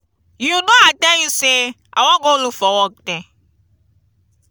you know i tell you say i wan go look for work there.